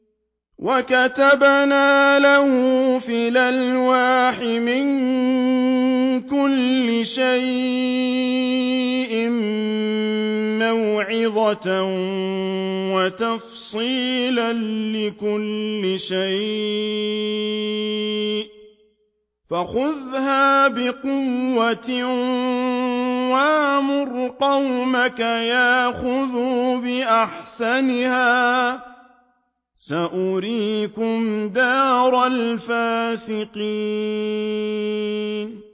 وَكَتَبْنَا لَهُ فِي الْأَلْوَاحِ مِن كُلِّ شَيْءٍ مَّوْعِظَةً وَتَفْصِيلًا لِّكُلِّ شَيْءٍ فَخُذْهَا بِقُوَّةٍ وَأْمُرْ قَوْمَكَ يَأْخُذُوا بِأَحْسَنِهَا ۚ سَأُرِيكُمْ دَارَ الْفَاسِقِينَ